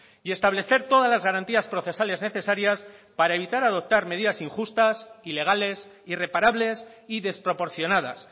y establecer todas las garantías procesales necesarias para evitar adoptar medidas injustas ilegales irreparables y desproporcionadas